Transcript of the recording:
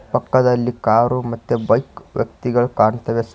ಪಕ್ಕದಲ್ಲಿ ಕಾರು ಮತ್ತೆ ಬೈಕ್ ವ್ಯಕ್ತಿಗಳು ಕಾಣ್ತವೆ ಸರ್ .